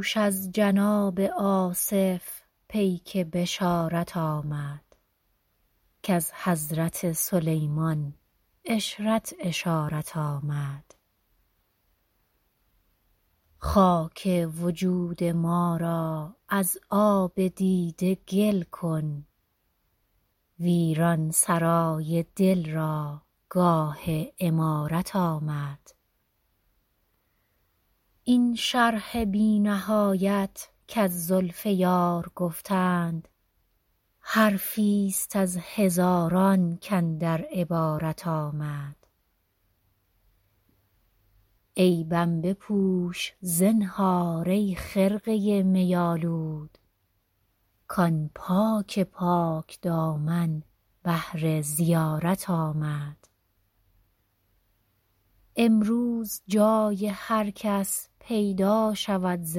دوش از جناب آصف پیک بشارت آمد کز حضرت سلیمان عشرت اشارت آمد خاک وجود ما را از آب دیده گل کن ویران سرای دل را گاه عمارت آمد این شرح بی نهایت کز زلف یار گفتند حرفی ست از هزاران کاندر عبارت آمد عیبم بپوش زنهار ای خرقه می آلود کآن پاک پاک دامن بهر زیارت آمد امروز جای هر کس پیدا شود ز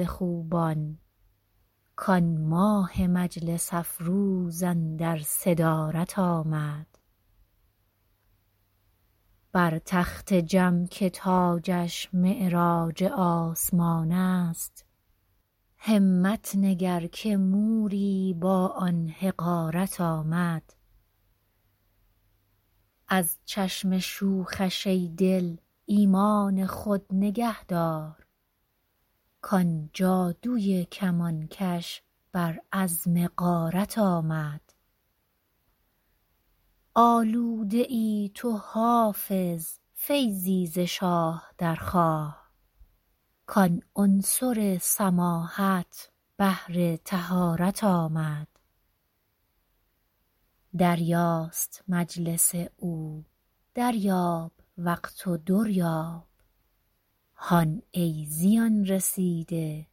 خوبان کآن ماه مجلس افروز اندر صدارت آمد بر تخت جم که تاجش معراج آسمان است همت نگر که موری با آن حقارت آمد از چشم شوخش ای دل ایمان خود نگه دار کآن جادوی کمانکش بر عزم غارت آمد آلوده ای تو حافظ فیضی ز شاه درخواه کآن عنصر سماحت بهر طهارت آمد دریاست مجلس او دریاب وقت و در یاب هان ای زیان رسیده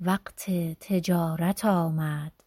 وقت تجارت آمد